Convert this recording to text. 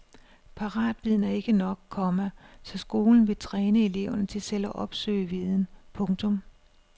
Paratviden er ikke nok, komma så skolen vil træne eleverne til selv at opsøge viden. punktum